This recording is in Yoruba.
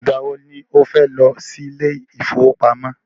Ìgbà wọ ni o fẹ́ lọ sí ilé ìfọwọ́pamo?